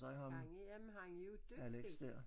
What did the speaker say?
Gang i jamen han er jo dygtig